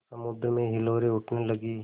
समुद्र में हिलोरें उठने लगीं